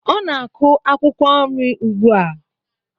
Ọ na-akụ akwụkwọ nri ugbu a.